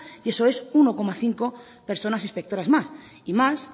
y eso es uno coma cinco personas inspectoras más y más